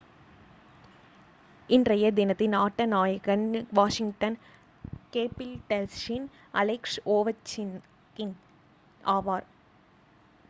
இன்றைய தினத்தின் ஆட்ட நாயகன் வாஷிங்டன் கேபிடல்ஸின் அலெக்ஸ் ஓவெச்கின் ஆவார்